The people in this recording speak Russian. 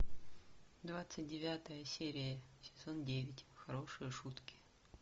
двадцать девятая серия сезон девять хорошие шутки